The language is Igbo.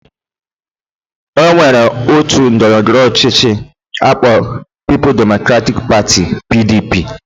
Onwere otu ndọrọndọrọ ọchịchị akpọrọ People's Democratic Party PDP